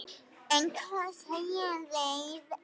En hvað segja þeir?